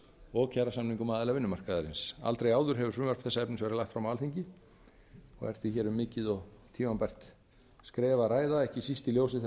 og kjarasamningum aðila vinnumarkaðarins aldrei áður hefur frumvarp þessa efnis verið lagt fram á alþingi og er því hér um mikið og tímabært skref að ræða ekki síst í ljósi þeirrar